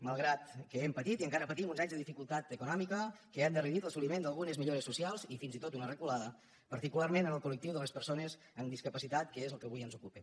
malgrat que hem patit i encara patim uns anys de dificultat econòmica que ha endarrerit l’assoliment d’algunes millores socials i fins i tot una reculada particularment en el col·lectiu de les persones amb discapacitat que és el que avui ens ocupa